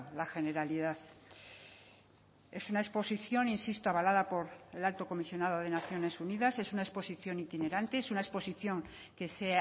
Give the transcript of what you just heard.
la generalidad es una exposición insisto avalada por el alto comisionado de naciones unidas es una exposición itinerante es una exposición que se